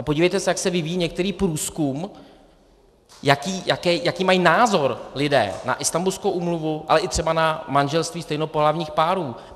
A podívejte se, jak se vyvíjí některý průzkum, jaký mají názor lidé na Istanbulskou úmluvu, ale i třeba na manželství stejnopohlavních párů.